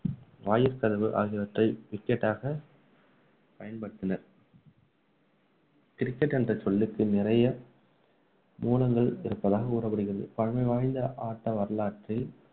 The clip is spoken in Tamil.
வாயிற்கதவு ஆகியவற்றை wicket ஆக பயன்டுபத்தினர் cricket என்ற சொல்லுக்கு நிறைய மூலங்கள் இருக்கலாம் முகவரிகள் பல பழமை வாய்ந்த ஆட்ட வரலாற்றை